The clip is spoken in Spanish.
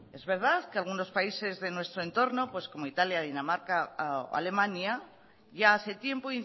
es verdad que algunos países de nuestro entorno como italia dinamarca o alemania ya hace tiempo